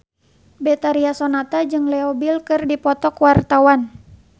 Betharia Sonata jeung Leo Bill keur dipoto ku wartawan